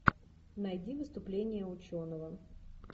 найди выступление ученого